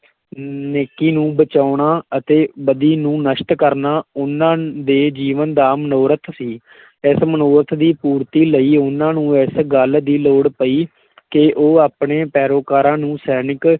ਨੇਕੀ ਨੂੰ ਬਚਾਉਣਾ ਅਤੇ ਬਦੀ ਨੂੰ ਨਸ਼ਟ ਕਰਨਾ ਉਹਨਾਂ ਦੇ ਜੀਵਨ ਦਾ ਮਨੋਰਥ ਸੀ ਇਸ ਮਨੋਰਥ ਦੀ ਪੂਰਤੀ ਲਈ ਉਹਨਾਂ ਨੂੰ ਇਸ ਗੱਲ ਦੀ ਲੋੜ ਪਈ ਕਿ ਉਹ ਆਪਣੇ ਪੈਰੋਕਾਰਾਂ ਨੂੰ ਸੈਨਿਕ,